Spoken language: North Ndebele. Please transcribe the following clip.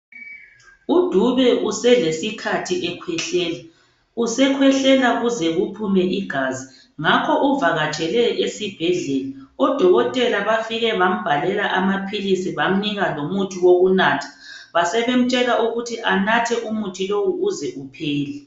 UDube uselesikhathi ekhwehlela, usekhwehlela kuze kuphume igazi ngakho uvakatshele esibhedlela. Odokotela bafike bambhalela amaphilisi bamnika lomuthi wokunatha, basebemtshela ukuthi anathe umuthi lowo uze uphele.